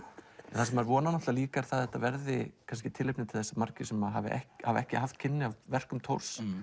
það sem maður vonar líka er að þetta verði tilefni til að margir sem hafa ekki hafa ekki haft kynni af verkum Thors